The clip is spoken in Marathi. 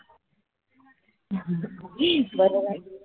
बरोबर